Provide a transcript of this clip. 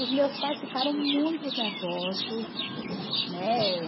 Os meus pais ficaram muito nervosos, né?